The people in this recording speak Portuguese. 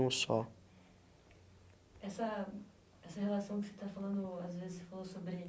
um só. Essa, essa relação que você está falando às vezes você falou sobre